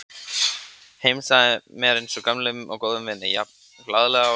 Heilsaði mér eins og gömlum og góðum vini, jafn glaðleg og síðast.